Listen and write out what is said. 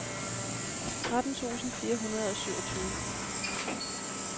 tretten tusind fire hundrede og syvogtyve